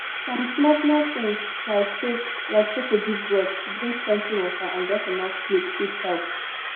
some small small thing like take like take a deep breath drink plenty water and get enough sleep fit help